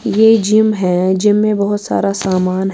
.یہ جم ہیں جم مے بہت سارا سامان ہیں